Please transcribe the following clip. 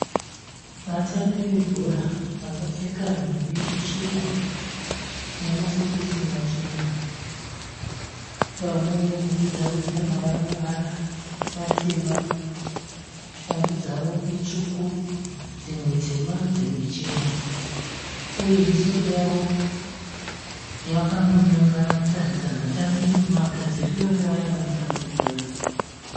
Vatambi vebhora vakapfeka nhumbi chena namasokisi machena. Pamwe nhumbi dzavo dzine mavaramavara matema. Shangu dzavo itsvuku, dzimwe tema, dzimwe chena, uye misoro yavo yakangonyangara kutaridza magadzirire evaya vanotamba bhora.